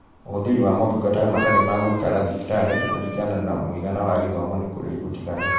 Ũhũthĩri wa motungata matarĩ ma gũikara thibitarĩ kũringana na mũigana wa gĩthomo nĩ kũrĩ ũtiganu